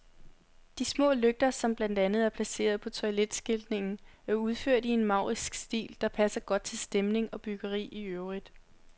De små lygter, som blandt andet er placeret på toiletskiltningen, er udført i en maurisk stil, der passer godt til stemning og byggeri i øvrigt.